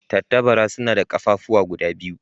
Tattabara suna da ƙafafuwa guda biyu.